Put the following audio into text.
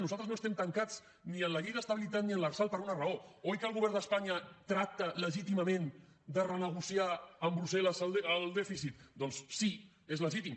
nosaltres no estem tancats ni en la llei d’estabilitat ni en l’lrsal per una raó oi que el govern d’espanya tracta legítimament de renegociar amb brussel·les el dèficit doncs sí és legítim